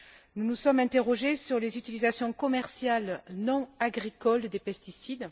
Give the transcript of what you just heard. Nous nous sommes interrogés sur les utilisations commerciales non agricoles des pesticides.